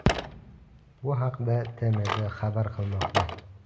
Bu haqda TMZ xabar qilmoqda .